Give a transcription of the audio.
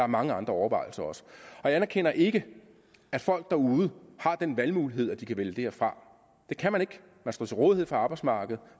mange andre overvejelser og jeg anerkender ikke at folk derude har den valgmulighed at de kan vælge det her fra det kan man ikke man står til rådighed for arbejdsmarkedet